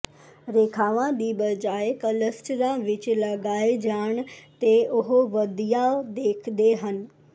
ਰੇਖਾਵਾਂ ਦੀ ਬਜਾਏ ਕਲਸਟਰਾਂ ਵਿੱਚ ਲਗਾਏ ਜਾਣ ਤੇ ਉਹ ਵਧੀਆ ਦੇਖਦੇ ਹਨ